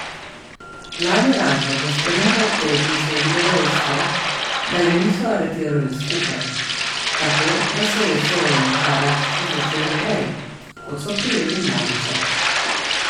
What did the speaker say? Glavni razlog za spremembo obtožnice je bilo dejstvo, da ju niso aretirali skupaj, tako da se je sojenje Karadžiću začelo prej, kot so prijeli Mladića.